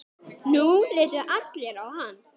Nú litu allir á hann.